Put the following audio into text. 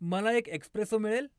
मला एक एक्स्प्रेसो मिळेल?